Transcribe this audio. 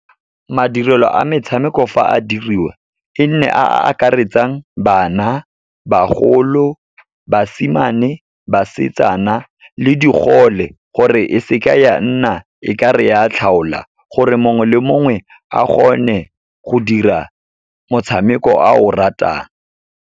Madirelo a metshameko fa a diriwa, e nne a a akaretsang bana, bagolo, basimane, basetsana le digole, gore e seke ya nna e ka re ya tlhaola, gore mongwe le mongwe a gone go dira motshameko a o ratang.